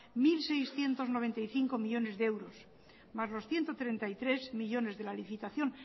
mil seiscientos noventa y cinco millónes de euros más los ciento treinta y tres millónes de la licitación